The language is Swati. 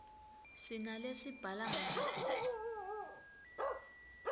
sinalesibhala ngato